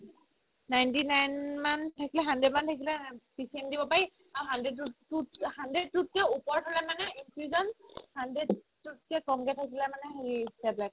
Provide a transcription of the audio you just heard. ninety-nine মান থাকে hundred মান থাকিলে PCM দিব পাৰি আৰু hundred তো hundred তোত কে যদি ওপৰত হ'লে মানে infusion hundred তোত কে ক'মকে থাকিলে মানে হেৰি tablet